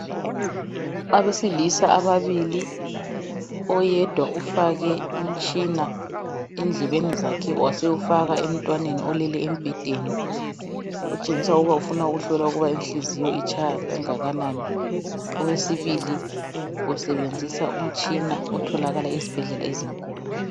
Abesilisa ababili. Oyedwa ufake umtshina endlebeni zakhe, wasewufaka emntwaneni olele embhedeni. Otshengisa ukuba ufuna ukuhlola ukuthi inhliziyo, itshaya kangakanani. Owesibili, usebenzisa umtshina otholakala esibhedlela ezinkulu,,